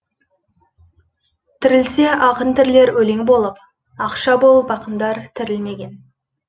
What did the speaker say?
тірілсе ақын тірілер өлең болып ақша болып ақындар тірілмеген